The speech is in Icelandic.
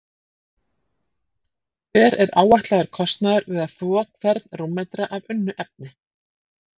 Hver er áætlaður kostnaður við að þvo hvern rúmmetra af unnu efni?